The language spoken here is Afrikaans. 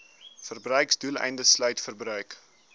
verbruiksdoeleindes sluit verbruik